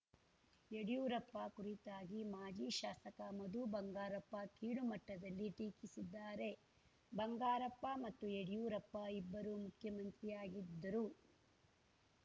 ಯಡಿಯೂರಪ್ಪ ಕುರಿತಾಗಿ ಮಾಜಿ ಶಾಸಕ ಮಧುಬಂಗಾರಪ್ಪ ಕೀಳು ಮಟ್ಟದಲ್ಲಿ ಟೀಕಿಸಿದ್ದಾರೆ ಬಂಗಾರಪ್ಪ ಮತ್ತು ಯಡಿಯೂರಪ್ಪ ಇಬ್ಬರು ಮುಖ್ಯಮಂತ್ರಿಯಾಗಿದ್ದರು